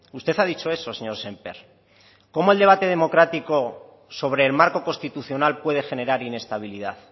usted ha dicho eso señor sémper cómo el debate democrático sobre el marco constitucional puede generar inestabilidad